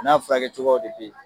A n'a furakɛ cogoyaw de bɛ ye.